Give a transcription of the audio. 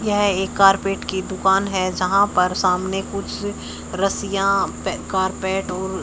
यह एक कारपेट की दुकान है जहां पर सामने कुछ रस्सियां पे कारपेट और--